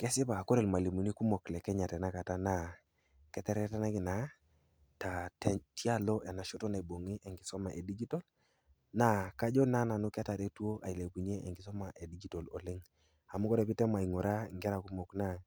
Kesipa, kore ilmwalimuni kumok le Kenya tenakata naa keteretenaki naa tialo enashoto naibung'i enkisoma e digitol, naa kajo na nanu ketaretwo ailepunye, enkisuma e digitol oleng' . Amu ore pee item aing'uraa inkera kumok anaa